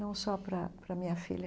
Não só para para minha filha.